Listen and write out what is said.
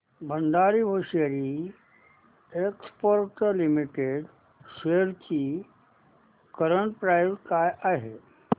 Bhandari hosiery exports limited shares ची current price काय आहे